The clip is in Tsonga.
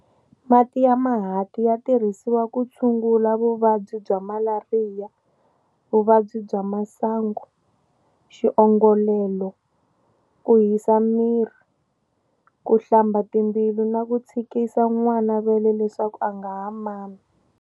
Mati ya mahanti ya tirhisiwa ku tshungula vuvabyi bya malariya, vuvabyi bya masangu, xiongolelo, ku hisaka miri, ku hlamba timbilu na ku tshikisa n'wana vele leswaku a nga ha mami.